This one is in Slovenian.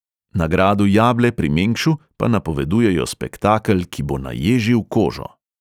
Na gradu jable pri mengšu pa napovedujejo spektakel, ki bo naježil kožo.